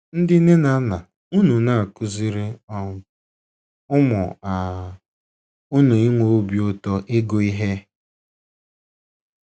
Ndị nne na nna, ùnu na - akụziri um ụmụ um unu ịnwe obi ụtọ ịgụ ihe?